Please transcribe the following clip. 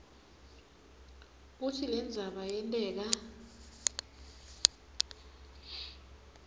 kutsi lendzaba yenteka